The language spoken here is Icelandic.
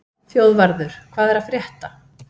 Þjóðvarður, hvað er að frétta?